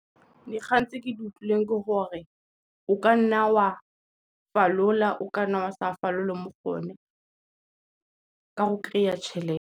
Dikgang tse ke di utlwileng ke gore o ka nna wa falola, o kanna wa sa falole mo go one ka go kry-a tšhelete.